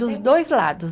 Dos dois lados.